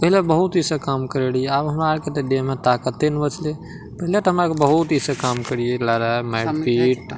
पहले बहुत इ सब काम करे लिया अब हमरा के त देह में ताकते नहीं बचले पहले त हमरा बहुत इ सब काम करीला ह मार-पीट।